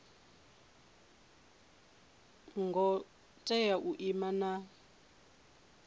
ngo tea u ima na